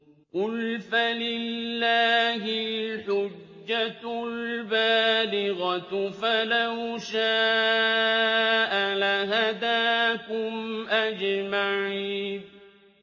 قُلْ فَلِلَّهِ الْحُجَّةُ الْبَالِغَةُ ۖ فَلَوْ شَاءَ لَهَدَاكُمْ أَجْمَعِينَ